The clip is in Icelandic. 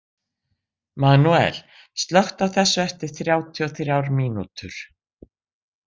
Manuel, slökktu á þessu eftir þrjátíu og þrjár mínútur.